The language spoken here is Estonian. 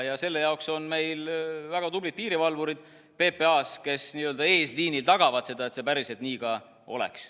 Ja selle jaoks on meil väga tublid piirivalvurid PPA-s, kes n-ö eesliinil tagavad seda, et see nii päriselt ka oleks.